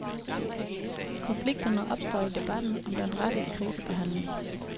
Konflikterne opstår i debatten om den rette krisebehandling.